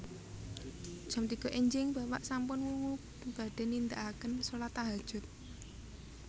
Jam tiga enjing bapak sampun wungu badhe nindaaken solat tahajud